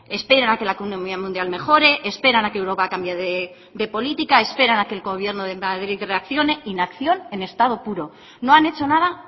esperan a que la economía mundial mejore esperan a que europa cambie de política esperan a que el gobierno de madrid reaccione inacción en estado puro no han hecho nada